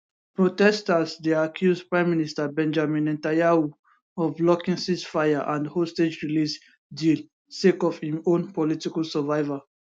protesters dey accuse prime minister benjamin netanyahu of blocking ceasefire and hostage release deal sake of im own political survival